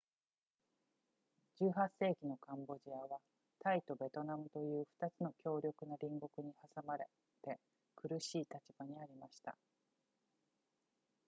18世紀のカンボジアはタイとベトナムという2つの強力な隣国に挟まれて苦しい立場にありました